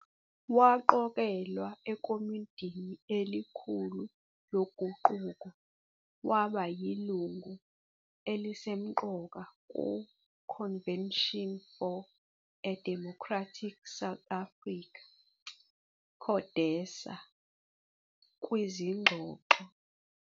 Waqokelwa ekomidini elikhulu loguquko waba yilungu elisemqoka ku Convention For a Democratic South Africa, CODESA, kwizingxoxo.